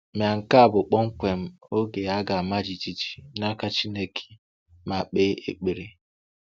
Ma nke a bụ kpọmkwem oge a ga-ama jijiji n’aka Chineke ma kpee ekpere!